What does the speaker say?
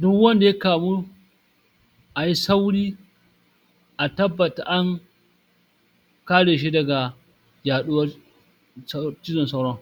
Du wanda ya kamu ayi sauri a tabbata an kare shi daga yaɗuwar cu sauro cizon sauron.